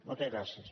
moltes gràcies